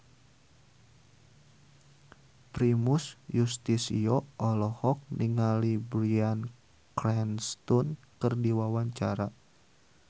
Primus Yustisio olohok ningali Bryan Cranston keur diwawancara